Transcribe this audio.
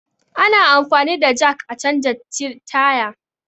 Ana anfani da jak a canja tire